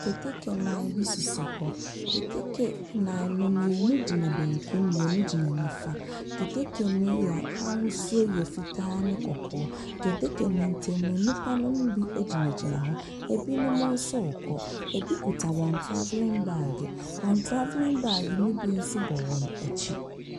Keteke nan bi sisi hɔ. Keteke nan no, mmienu gyina benku, mmienu gyina nifa. Keteke no yɛ ahosuo yɛ fitaa ne kɔkɔɔ. Keteke no ntam no, nnipa no bi gyinagyina hɔ. Ebinom nso rekɔ. Ebi kuta wɔn traveling baage. Wɔn traveling baage no bi nso bɔ wɔn akyi.